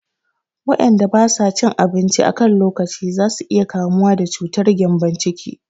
Waƴanda ba sa cin abinci a kan lokaci za su iya kamuwa da cutar gƴambon ciki